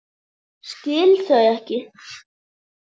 Skil þau ekki.